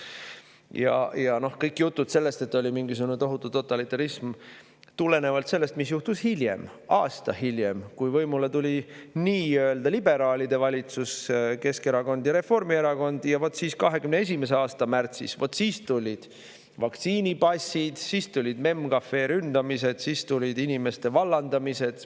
Ja noh, jutud sellest, et oli mingisugune tohutu totalitarism, aga see juhtus aasta hiljem, kui võimule tuli nii-öelda liberaalide valitsus – Keskerakond ja Reformierakond –, ja vot siis 2021. aasta märtsis tulid vaktsiinipassid, tulid MEM Cafe ründamised, tulid inimeste vallandamised.